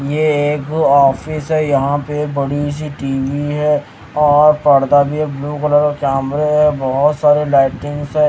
ये एक ऑफिस है यहां पे बड़ी सी टीवी है और पर्दा भी है ब्लू कलर कैमरे बहुत सारी लाइटिंग --